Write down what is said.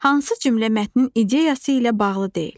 Hansı cümlə mətnin ideyası ilə bağlı deyil?